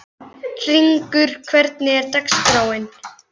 Hringur, hvernig er dagskráin?